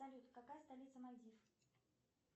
салют какая столица мальдив